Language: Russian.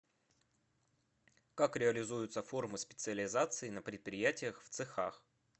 как реализуются формы специализации на предприятиях в цехах